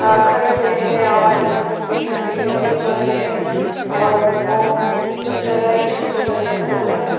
आखरी में आ रहै है और यहाँ पे पूजा के लिए रेडी हो रहै है और वो जैसे लग रहा है की छठ पूजा का पूजा है।